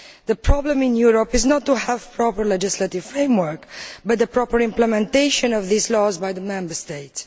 The problem in Europe is not about having a proper legislative framework, but about the proper implementation of these laws by the Member States.